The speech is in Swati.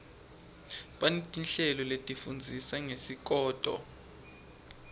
baneti nhleloletifundzisa ngesikoto